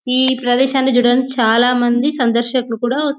ఈ ప్రదేశాన్ని చూడండి చాలామంది సందర్శకులు కూడా వస్ --